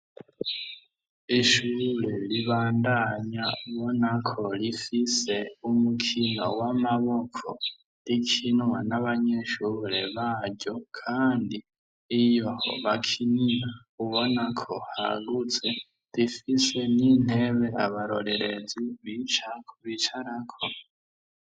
ishure ribandanya ubona ko rifise umukino w'amaboko rikinwa n'abanyeshure baryo kandi iyo bakinira ubona ko hagutse rifise n'intebe abarorerezi kubicarako